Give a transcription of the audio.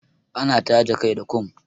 Ana taje kai da kum.